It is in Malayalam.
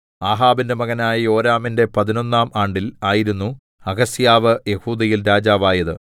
ആഹാബിന്റെ മകനായ യോരാമിന്റെ പതിനൊന്നാം ആണ്ടിൽ ആയിരുന്നു അഹസ്യാവ് യെഹൂദയിൽ രാജാവായത്